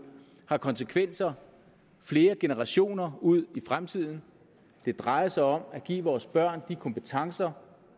har konsekvenser flere generationer ud i fremtiden det drejer sig om at give vores børn de kompetencer